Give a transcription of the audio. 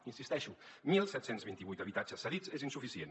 hi insisteixo disset vint vuit habitatges cedits és insuficient